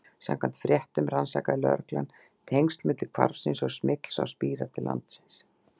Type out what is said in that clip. Samkvæmt fréttum rannsakaði lögreglan tengsl milli hvarfsins og smygls á spíra til landsins.